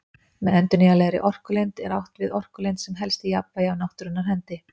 Með endurnýjanlegri orkulind er átt við orkulind sem helst í jafnvægi af náttúrunnar hendi.